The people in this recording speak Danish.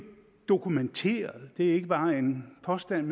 dokumenteret det er ikke bare en påstand